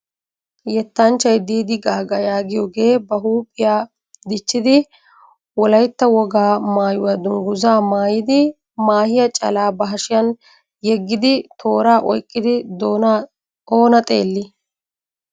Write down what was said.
Yettanchchay Didi Gaga yaagiyoge ba huuphiya dichchidi Wolaytta wogaa maayuwa dunguzaa maayidi maahiya calaa ba hashiyan yeggidi tooraa oyiqqidi Oona xeelli?